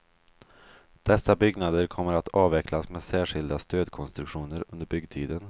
Dessa byggnader kommer att avväxlas med särskilda stödkonstruktioner under byggtiden.